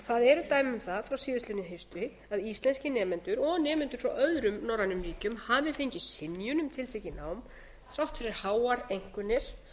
það eru dæmi um það frá síðastliðnu hausti að íslenskir nemendur og nemendur frá öðrum norrænum ríkjum hafi fengið synjun um tiltekið nám þrátt fyrir háar einkunnir